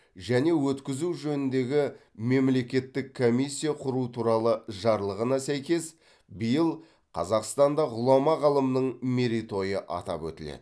және өткізу жөніндегі мемлекеттік комиссия құру туралы жарлығына сәйкес биыл қазақстанда ғұлама ғалымның мерейтойы атап өтіледі